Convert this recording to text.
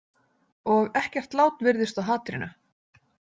Og ekkert lát virðist á hatrinu.